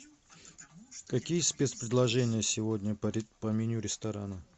какие спецпредложения сегодня по меню ресторана